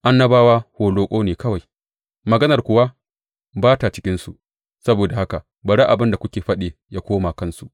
Annabawa holoƙo ne kawai maganar kuwa ba ta cikinsu; saboda haka bari abin da suke faɗi ya koma kansu.